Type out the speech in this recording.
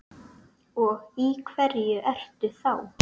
Og í hverju ertu þá?